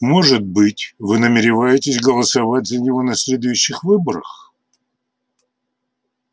может быть вы намереваетесь голосовать за него на следующих выборах